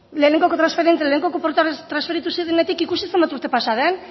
lehenengoko transferentzia lehenengoko portuak transferitu zirenetik ikusi zenbat urte pasa den